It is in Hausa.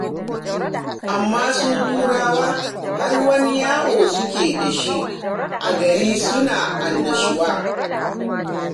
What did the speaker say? Amma su Turawa har wani yawo suke da shi a gari suna annashuwa.